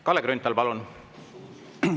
Kalle Grünthal, palun!